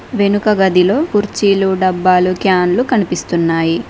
వెనుక గదిలో కుర్చీలు డబ్బాలు క్యాన్లు కనిపిస్తున్నాయి.